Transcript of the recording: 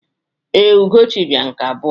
Ee, Ugochi bịara nke abụọ.